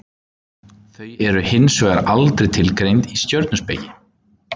Þau eru hins vegar aldrei tilgreind í stjörnuspeki.